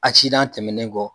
Acidan tɛmɛnen kɔ